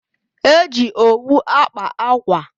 E ji owu akpa akwa.